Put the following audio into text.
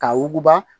Ka wuguba